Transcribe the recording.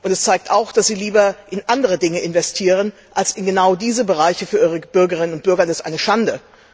Es zeigt auch, dass sie lieber in andere Dinge investieren als in genau in diese Bereiche für ihre Bürgerinnen und Bürger, und das ist eine Schande!